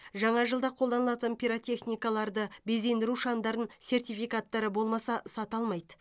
жаңа жылда қолданылатын пиротехникаларды безендіру шамдарын сертификаттары болмаса сата алмайды